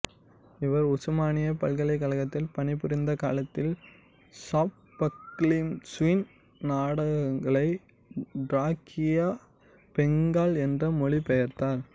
இவர் உசுமானியா பல்கலைக்கழகத்தில் பணிபுரிந்த காலத்தில் சாஃபக்கிளீசுவின் நாடகங்களை டிராக்கியா பெங்கால் என்று மொழிபெயர்த்தார்